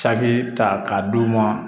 Cakɛ ta ka d'u ma